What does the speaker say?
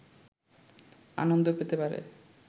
আনন্দ পেতে পারে